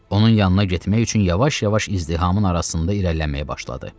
Onun yanına getmək üçün yavaş-yavaş izdihamın arasında irəliləməyə başladı.